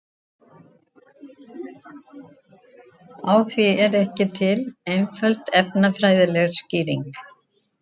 Á því er ekki til einföld efnafræðileg skýring.